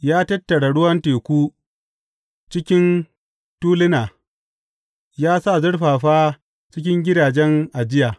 Ya tattara ruwan teku cikin tuluna; ya sa zurfafa cikin gidajen ajiya.